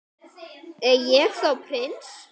Er ég þá prins?